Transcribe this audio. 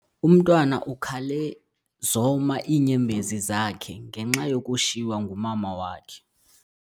Umntwana ukhale zoma iinyembezi zakhe ngenxa yokushiywa ngumama wakhe.